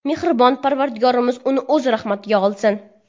Mehribon Parvardigorimiz uni O‘z rahmatiga olsin!